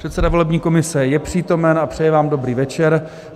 Předseda volební komise je přítomen a přeje vám dobrý večer.